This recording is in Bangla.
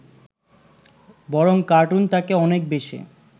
বরং কার্টুন তাকে অনেক বেশী